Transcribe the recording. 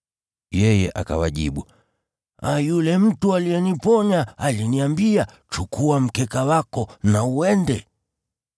Yeye akawajibu, “Yule mtu aliyeniponya aliniambia, ‘Chukua mkeka wako na uende.’ ”